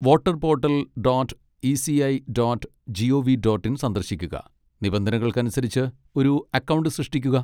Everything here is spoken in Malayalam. Voter portal dot ECI dot gov dot in സന്ദർശിക്കുക, നിബന്ധനകൾക്കനുസരിച്ച് ഒരു അക്കൗണ്ട് സൃഷ്ടിക്കുക.